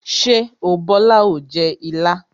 Ṣé o Bola o jẹ ilá?